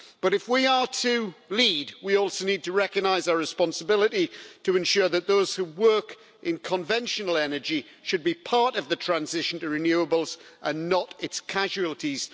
But, if we are to lead, we also need to recognise our responsibility to ensure that those who work in conventional energy should be part of the transition to renewables and not its casualties.